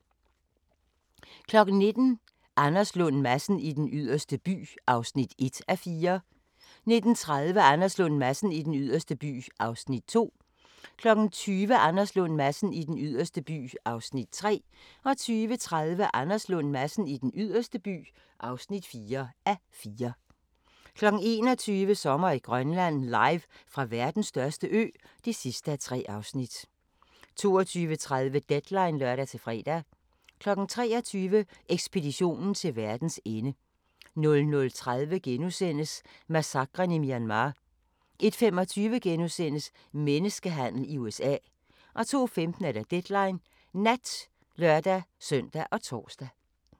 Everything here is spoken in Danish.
19:00: Anders Lund Madsen i Den Yderste By (1:4) 19:30: Anders Lund Madsen i Den Yderste By (2:4) 20:00: Anders Lund Madsen i Den Yderste By (3:4) 20:30: Anders Lund Madsen i Den Yderste By (4:4) 21:00: Sommer i Grønland – Live fra verdens største ø (3:3) 22:30: Deadline (lør-fre) 23:00: Ekspeditionen til verdens ende 00:30: Massakren i Myanmar * 01:25: Menneskehandel i USA * 02:15: Deadline Nat (lør-søn og tor)